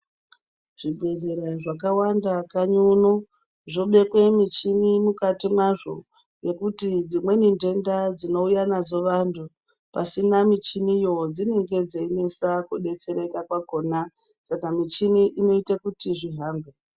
Zvibhedhlera zvakawanda kanyi uno zvobekwe michini mwukati mwazvo ngekuti dzimweni ndenda dzinouya nadzo vantu pasina michiniyo, dzinenge dzeinesa kudetsereka kwakona, saka michini inoite kuti zvihambe.